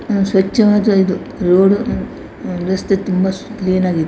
ಸ್ವಚ್ಛವಾದ ಇದು ರೋಡು ರಸ್ತೆ ತುಂಬಾ ಕ್ಲೀನ್ ಆಗಿ ಇದೆ.